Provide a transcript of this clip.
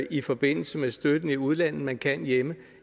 i forbindelse med støtten i udlandet end man kan hjemme